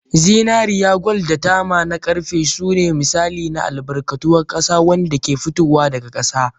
Zinariya, kwal da tama na ƙarfe sune misalai na albarkatun ƙasa waɗanda ke fitowa daga ƙasa.